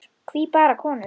Hví bara konur?